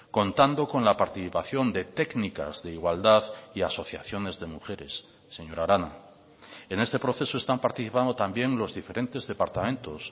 contando con la participación de técnicas de igualdad y asociaciones de mujeres señora arana en este proceso están participando también los diferentes departamentos